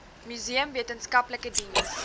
museum wetenskaplike diens